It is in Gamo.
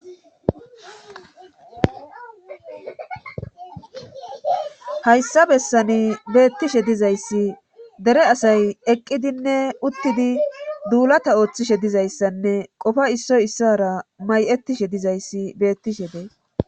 hayssa bessani beettishe dizayssi dere asay eqqidinne uttidi duulata ooththishe dizayssanne qofa issoy issra may7ettishe dizayssi beettishe bee